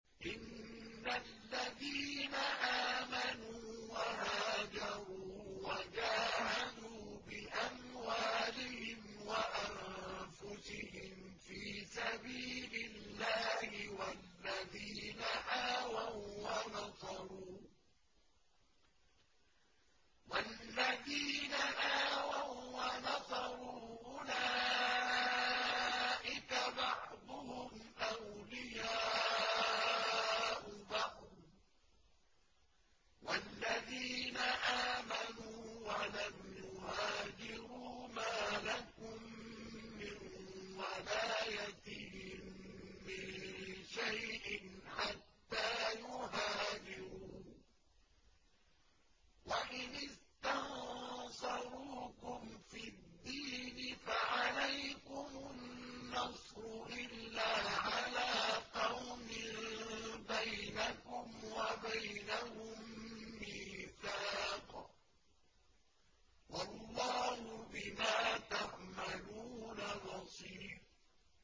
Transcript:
إِنَّ الَّذِينَ آمَنُوا وَهَاجَرُوا وَجَاهَدُوا بِأَمْوَالِهِمْ وَأَنفُسِهِمْ فِي سَبِيلِ اللَّهِ وَالَّذِينَ آوَوا وَّنَصَرُوا أُولَٰئِكَ بَعْضُهُمْ أَوْلِيَاءُ بَعْضٍ ۚ وَالَّذِينَ آمَنُوا وَلَمْ يُهَاجِرُوا مَا لَكُم مِّن وَلَايَتِهِم مِّن شَيْءٍ حَتَّىٰ يُهَاجِرُوا ۚ وَإِنِ اسْتَنصَرُوكُمْ فِي الدِّينِ فَعَلَيْكُمُ النَّصْرُ إِلَّا عَلَىٰ قَوْمٍ بَيْنَكُمْ وَبَيْنَهُم مِّيثَاقٌ ۗ وَاللَّهُ بِمَا تَعْمَلُونَ بَصِيرٌ